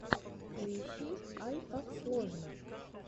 поищи айкаксложно